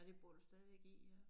Og det bor du stadigvæk i ja